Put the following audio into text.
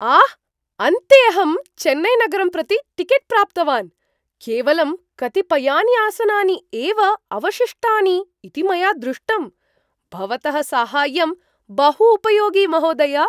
आह, अन्ते अहं चेन्नैनगरं प्रति टिकेट् प्राप्तवान्, केवलं कतिपयानि आसनानि एव अवशिष्टानि इति मया दृष्टम्, भवतः साहाय्यं बहु उपयोगि महोदय।